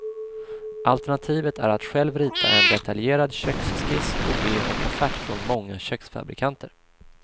Alternativet är att själv rita en detaljerad köksskiss och be om offert från många köksfabrikanter.